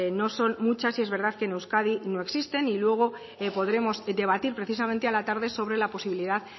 no son muchas y es verdad que en euskadi no existen y luego podremos debatir precisamente a la tarde sobre la posibilidad